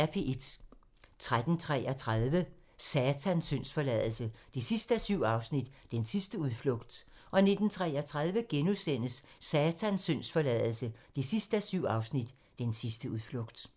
13:33: Satans syndsforladelse 7:7 – Den sidste udflugt 19:33: Satans syndsforladelse 7:7 – Den sidste udflugt *